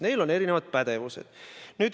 Neil on erinevad pädevused.